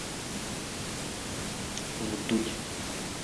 вдудь